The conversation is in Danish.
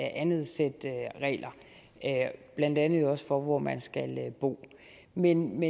andet sæt regler blandt andet jo også for hvor man skal bo men